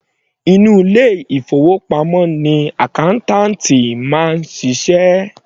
Inú ilé ìfowópamọ́ ni accountant ti máa ń ṣiṣẹ́.